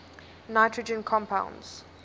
nitrogen compounds